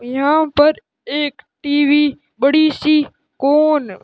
यहां पर एक टी_वी बड़ी सी कोन --